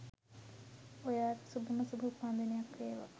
ඔයාට සුභම සුභ උපන්දිනයක් වේවා